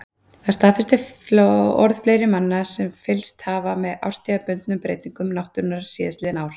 Það staðfestir orð fleiri manna sem fylgst hafa með árstíðabundnum breytingum náttúrunnar síðastliðin ár.